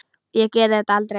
Ég geri þetta aldrei.